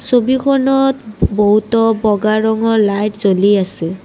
ছবিখনত বহুতো বগা ৰঙৰ লাইট জ্বলি আছে।